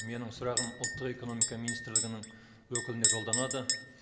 менің сұрағым ұлттық экономика министрлігінің өкіліне жолданады